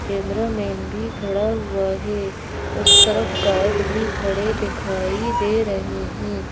Cameraman भी खड़ा हुआ है उस तरफ गार्ड भी खड़े दिखाई दे रहे हैं।